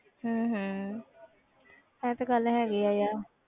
ਹਮ ਹਮ ਇਹ ਤੇ ਗੱਲ ਹੈਗੀ ਹੈ ਯਾਰ।